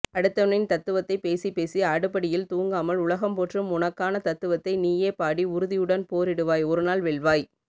அடுத்தவனின் தத்துவத்தை பேசிப்பேசி அடுப்படியில் தூங்காமல் உலகம்போற்றும் உனக்கான தத்துவத்தை நீயே பாடி உறுதியுடன் போரிடுவாய் ஒருநாள் வெல்வாய்